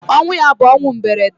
Ọnwụ ya bu ọnwụ mberede.